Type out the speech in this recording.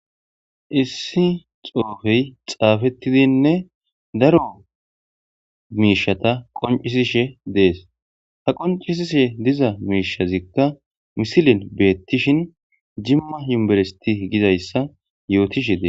Issi xoofey xaafettidinne daro miishata qoncisishe dees ha qoncisishe diza miishazikka misilin beettishin jimma yuberesiti gizayssa yootishe des.